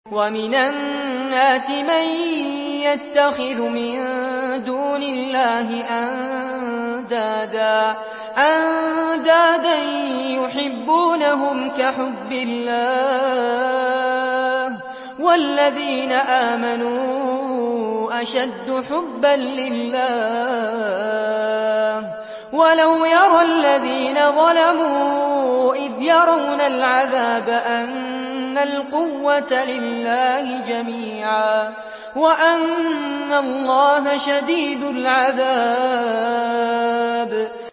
وَمِنَ النَّاسِ مَن يَتَّخِذُ مِن دُونِ اللَّهِ أَندَادًا يُحِبُّونَهُمْ كَحُبِّ اللَّهِ ۖ وَالَّذِينَ آمَنُوا أَشَدُّ حُبًّا لِّلَّهِ ۗ وَلَوْ يَرَى الَّذِينَ ظَلَمُوا إِذْ يَرَوْنَ الْعَذَابَ أَنَّ الْقُوَّةَ لِلَّهِ جَمِيعًا وَأَنَّ اللَّهَ شَدِيدُ الْعَذَابِ